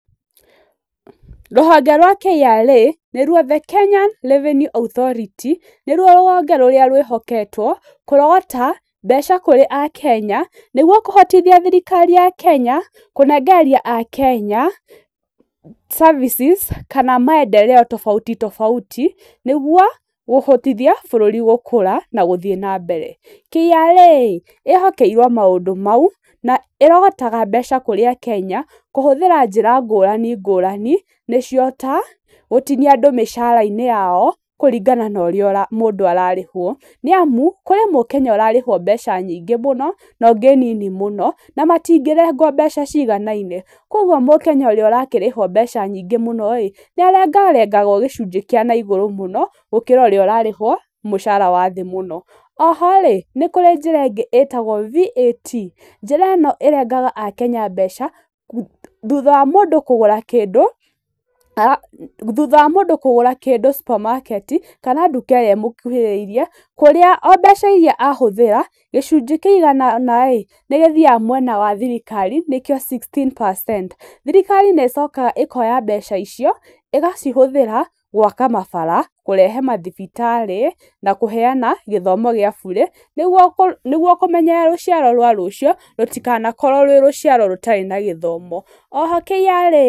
Rũhonge rwa KRA, nĩruo the Kenya Revenue Authority, nĩruo rũhonge rũrĩa rwĩhoketwo kũrogota mbeca kũrĩ akenya, nĩguo kũhotithia thirikari ya Kenya kũnengereria akenya, services kana maendereo tobauti tobauti nĩguo kũhotithia bũrũri gũkũra na gũthiĩ na mbere. KRA ĩ, ĩhokeirwo maũndũ mau, na ĩrogotaga mbeca kurĩa akenya, kũhũthĩra njĩra ngũrani ngũrani, nĩcio ta, gũtinia andũ mĩcara-inĩ yao, kũringana na ũrĩa mũndũ ararĩhwo, nĩ amu, kũrĩ mũkenya ũrarĩhwo mbeca nyingĩ mũno na ũngĩ nini mũno na matingĩrengwo mbeca ciganaine. Koguo mũkenya ũrĩa ũrakĩrĩhwo mbeca nyingĩ mũno ĩ, nĩ arengarengagwo gĩcunjĩ kĩa na igũrũ mũno, gũkĩra ũrĩa ũrarĩhwo mũcara wa thĩ mũno. Oho rĩ, nĩ kũrĩ njĩra ĩngĩ ĩtagwo VAT, njĩra ĩno ĩrengaga akenya mbeca, thutha wa mũndũ kũgũra kĩndũ, thutha wa mũndũ kũgara kĩndũ supermarket i, kana nduka irĩa ũmũkuhĩrĩirie, kũrĩa o mbeca iria ahũthĩra, gĩcunjĩ kĩigana ũna nĩ gĩthiaga mwena wa thirikari nĩkĩo sixteen percent, thirikari nĩ ĩcokaga ĩkoya mbeca icio, ĩgacihũthĩra, gwaka mabara, kũrehe mathibitarĩ, na kũheana gĩthomo gĩa bũrĩ, nĩguo kũmenyerera rũciaro rwa rũcio, rũtikanakorwo rwĩ rũciaro rũtarĩ na gĩthomo. Oho KRA.